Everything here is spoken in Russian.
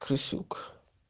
крысюк